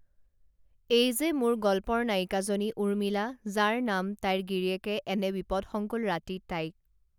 এই যে মোৰ গল্পৰ নায়িকাজনী উৰ্মিলা যাৰ নাম তাইৰ গিৰীয়েকে এনে বিপদসংকুল ৰাতি তাইক